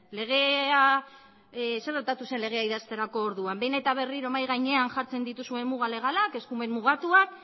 zer gertatu zen legea idazterako orduan behin berriro mahai gainean jartzen dituzuen muga legalak eskumen mugatuak